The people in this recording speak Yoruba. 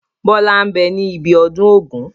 Bọlá ń bẹ ní ibi ọdún Ògún